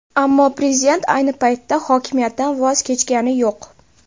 Ammo prezident ayni paytda hokimiyatdan voz kechgani yo‘q.